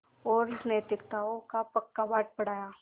और नैतिकताओं का पक्का पाठ पढ़ाया